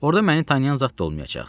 Orda məni tanıyan zad da olmayacaq.